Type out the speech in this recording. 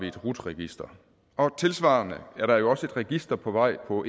et rut register og tilsvarende er der også et register på vej på